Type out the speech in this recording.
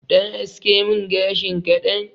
Ɗan aske mun gashin kaɗan